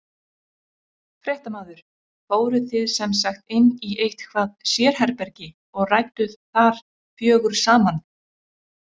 Fréttamaður: Fóruð þið sem sagt inn í eitthvað sérherbergi og rædduð þar fjögur saman?